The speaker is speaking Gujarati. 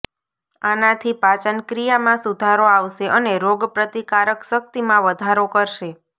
આનાથી પાચન ક્રિયામાં સુધારો આવશે અને રોગ પ્રતિકારક શક્તિમાં વધારો કરશે